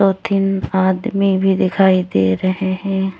और तीन आदमी भी दिखाई दे रहे हैं।